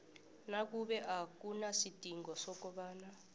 nakube akunasidingo sokobana